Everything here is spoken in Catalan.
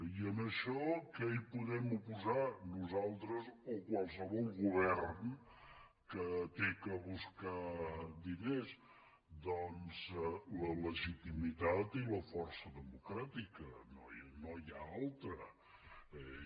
i en això què hi podem oposar nosaltres o qualsevol govern que ha de buscar diners doncs la legitimitat i la força democràtica no n’hi ha d’altres